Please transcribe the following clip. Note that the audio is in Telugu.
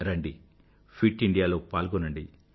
రండి ఫిట్ ఇండియాలో పాల్గొనండి